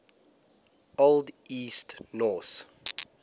old east norse